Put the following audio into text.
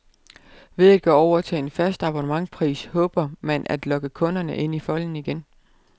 Ved at gå over til en fast abonnementspris håber man at lokke kunderne ind i folden igen.